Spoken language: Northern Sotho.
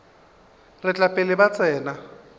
tla re pele ba tsena